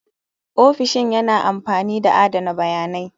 Ofishin yana amfani da adana bayanai.